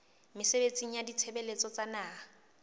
mesebetsing ya ditshebeletso tsa naha